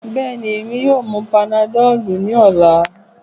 Bẹẹni, Emi yoo mu panadol ni ọla